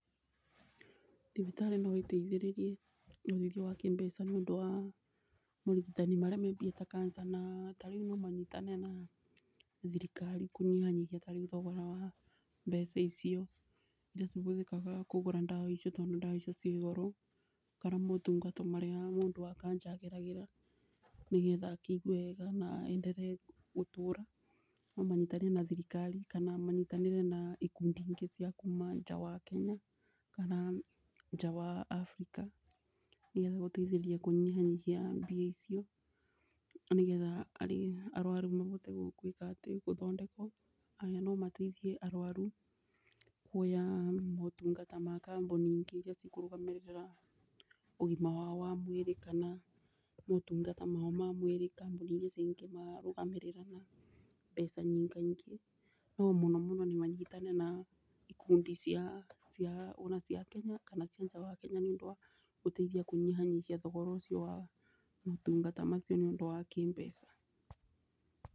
Thibitarĩ no ĩteithĩrĩrie ũteithio wa kĩmbeca nĩ ũndũ wa morigitani marĩa me mbia ta cancer, na tarĩu no manyoitane na thirikari kũnyihanyihia tarĩu thogora wa mbeca icio. Iria cihũthĩkaga kũgũra ndawa iciuo tondũ ndawa icio ciĩ goro kana motungata marĩa mũndũ wa kanja ageragĩra nĩ getha akĩigue wega, na enderee gũtũra. No manyitanĩre na thirikari kana manyitanĩre na ikundi ingĩ cia kuma nja wa Kenya kana nja wa Africa nĩ getha gũteithirĩria kũnyibanyibia mbia icio nĩ getha arĩa arwaru mabote kũgwĩka atĩ gũthondekwo Ona no mateithie arwaru kuoya motungata ma kambuni ingĩ iria cikũrugamĩrĩra ũgima wao wa mwĩrĩ kana motungata mao ma mwĩrĩ kambuni iria cingĩmarũgamĩrĩa na mbeca nyingaingĩ. No mũno mũno nĩ manyitane na ikundi cia ona cia Kenya na cia nja wa Kenya nĩ ũndũ wa gũteithia kunyihanyihia thogora ũcio wa motungata macio nĩ ũndũ wa kĩmbeca.